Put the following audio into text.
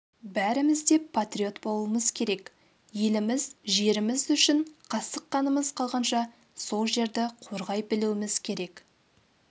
бәріміз де патриот болуымыз керек еліміз жеріміз үшін қасық қанымыз қалғанша сол жерді қорғай білуіміз керек